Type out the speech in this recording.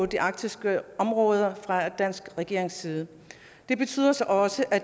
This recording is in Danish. de arktiske områder fra den danske regerings side det betyder så også at